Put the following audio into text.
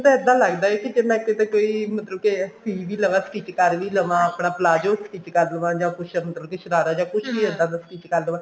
ਮੈਨੂੰ ਤਾ ਇਦਾਂ ਲੱਗਦਾ ਕਿਤੇ ਨਾ ਕਿਤੇ ਕੋਈ ਮਤਲਬ ਕਿ ਖਰੀਦ ਵੀ ਲਵਾ stich ਕਰ ਵੀ ਲਵਾ ਆਪਣਾ palazzo stich ਕਰ ਲਵਾਂ ਜਾ ਕੁੱਛ ਅੰਦਰ ਦੀ ਸ਼ਰਾਰਾ ਜਾ ਕੁੱਛ ਵੀ ਇੱਦਾਂ ਦਾ stich ਕਰ ਲਵਾਂ